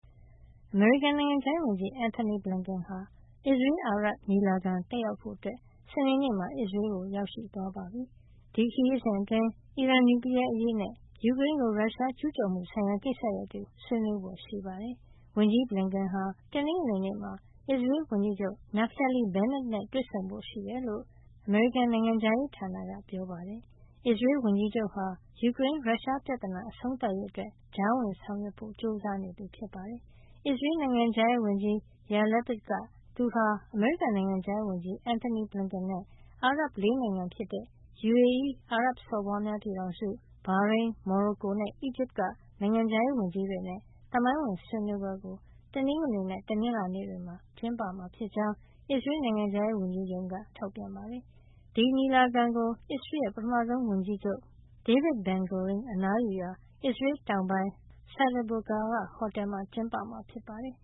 အမေရိကန်နိုင်ငံခြားရေးဝန်ကြီး Antony Blinken ဟာ အစ္စရေးလ်-အာရပ် ညီလာခံ တက်ရောက်ဖို့ စနေနေ့မှာ အစ္စရေးလ်ကို ရောက်ရှိသွားပါပြီ။ ဒီခရီးစဉ်အတွင်း အီရန် နျူကလီးယားအရေးနဲ့ ယူကရိန်းကို ရုရှားကျူးကျော်မှုဆိုင်ရာ ကိစ္စရပ်တွေကို ဆွေးနွေးဖွယ်ရှိပါတယ်။ ဝန်ကြီး Blinken ဟာ တနင်္ဂနွေနေ့မှာ အစ္စရေးလ်ဝန်ကြီးချုပ် Naftali Bennett နဲ့ တွေ့ဆုံဖို့ရှိတယ်လို့ အမေရိကန် နိုင်ငံခြားရေးဌာနက ပြောပါတယ်။ အစ္စရေးလ်ဝန်ကြီးချုပ်ဟာ ယူကရိန်း-ရုရှားပြဿနာ အဆုံးသတ်ရေးအတွက် ကြားဝင်ဆောင်ရွက်ဖို့ ကြိုးစားနေတာပါ။ အစ္စရေးလ် နိုင်ငံခြားရေးဝန်ကြီး Yair Lapid က သူဟာ အမေရိကန် နိုင်ငံခြားရေးဝန်ကြီး Antony Blinken နဲ့ အာရပ် ၄ နိုင်ငံဖြစ်တဲ့ UAE အာရပ်စော်ဘွားများပြည်ထောင်စု၊ ဘာရိန်း၊ မော်ရိုကိုနဲ့ အီဂျစ်က နိုင်ငံခြားရေး ဝန်ကြီးတွေနဲ့ သမိုင်းဝင် ဆွေးနွေးပွဲကို တနင်္ဂနွေနဲ့ တနင်္လာနေ့တွေမှာ အစ္စရေးလ်မှာ ကျင်းပမှာဖြစ်ကြောင်း အစ္စရေးလ် နိ်ုင်ငံခြားရေးဝန်ကြီးရုံးက သတင်းထုတ်ပြန်ပါတယ်။ ဒီညီလာခံကို အစ္စရေးလ်ရဲ့ ပထမဆုံးဝန်ကြီးချုပ် David Ben-Gurion အနားယူရာ အစ္စရေးလ်တောင်ပိုင်း Sde Boker က ဟိုတယ်မှာ ကျင်းပမှာ ဖြစ်ပါတယ်